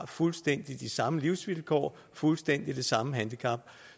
fuldstændig samme livsvilkår og fuldstændig det samme handicap